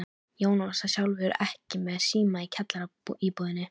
Jónas var sjálfur ekki með síma í kjallaraíbúðinni.